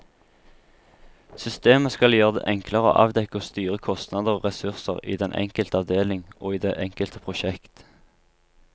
Systemet skal gjøre det enklere å avdekke og styre kostnader og ressurser i den enkelte avdeling og i det enkelte prosjekt.